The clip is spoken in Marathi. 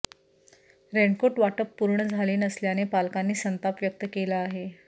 रेनकोट वाटप पूर्ण झाले नसल्याने पालकांनी संताप व्यक्त केला आहे